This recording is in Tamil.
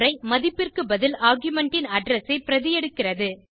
மதிப்பிற்கு பதில் ஆர்குமென்ட் ன் அட்ரெஸ் ஐ பிரதி எடுக்கிறது